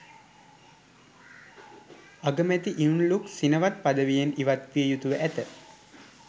අගමැතිනි Yingluck Shinawatra පදවියෙන් ඉවත් විය යුතුව ඇත